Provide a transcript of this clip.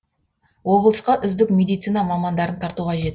облысқа үздік медицина мамандарын тарту қажет